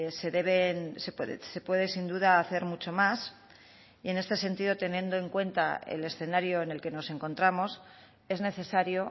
se deben se puede sin duda hacer mucho más y en este sentido teniendo en cuenta el escenario en el que nos encontramos es necesario